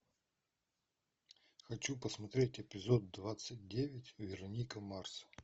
хочу посмотреть эпизод двадцать девять вероника марс